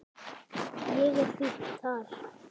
Ég er fínn þar.